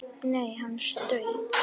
Nei, hann strauk